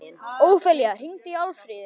Ófelía, hringdu í Alfríði.